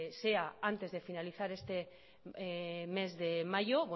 sea antes de finalizar este mes de mayo